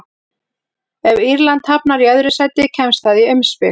Ef Írland hafnar í öðru sæti kemst það í umspil.